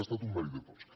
ha estat un mèrit de tots